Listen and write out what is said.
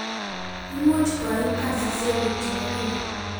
imuch koim kasisiekguk chebo kila